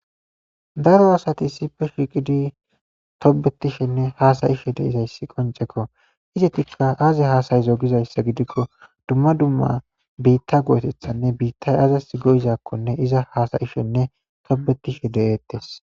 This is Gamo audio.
daro asati issipe shiqidi tobetishenne haasayishe deizayssi qoncekko izetikka aaze haasayizo gizayssa gidikko dumma dumma biitta go7etethanne biittay azas go7izakkonne iza hasa7ishenne tobetishe de7eettes